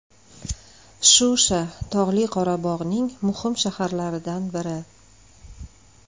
Shusha Tog‘li Qorabog‘ning muhim shaharlaridan biri.